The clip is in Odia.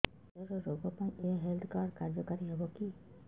କ୍ୟାନ୍ସର ରୋଗ ପାଇଁ ଏଇ ହେଲ୍ଥ କାର୍ଡ କାର୍ଯ୍ୟକାରି ହେବ କି